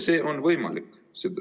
See on võimalik.